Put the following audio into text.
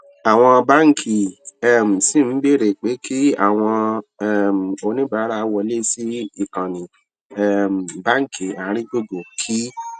àwọn báńkì um ṣì ń béèrè pé kí àwọn um oníbàárà wọlé sí ìkànnì um báńkì àárín gbùngbùn kí